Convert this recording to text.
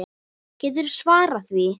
Geturðu svarað því?